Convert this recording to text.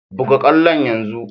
Buga kwallon yanzu!